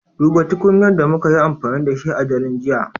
Duba tukunyar da muka yi amfani da shi a daren jiya